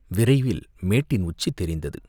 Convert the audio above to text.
விரைவில் மேட்டின் உச்சி தெரிந்தது.